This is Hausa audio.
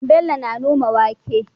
Bello na noma wake